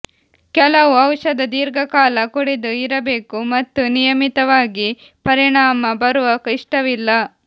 ಕೆಲವು ಔಷಧ ದೀರ್ಘಕಾಲ ಕುಡಿದು ಇರಬೇಕು ಮತ್ತು ನಿಯಮಿತವಾಗಿ ಪರಿಣಾಮ ಬರುವ ಇಷ್ಟವಿಲ್ಲ